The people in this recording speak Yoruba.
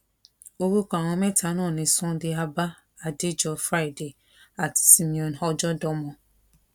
orúkọ àwọn mẹta náà ni sunday abah adéjọ friday àti simeon ọjọdọmọ